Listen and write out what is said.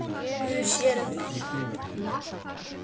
Guð sér um það.